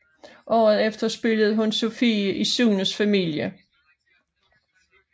Året efter spillede hun Sofie i Sunes familie